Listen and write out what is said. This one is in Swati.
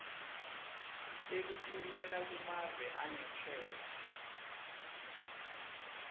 tekutfumela kumave angesheya